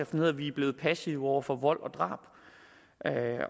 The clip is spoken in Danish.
som lød vi er blevet passive over for vold og drab